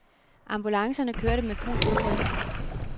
Ambulancerne kørte med fuld udrykning.